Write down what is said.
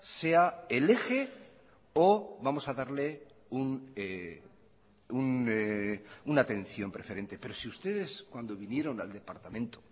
sea el eje o vamos a darle una atención preferente pero si ustedes cuando vinieron al departamento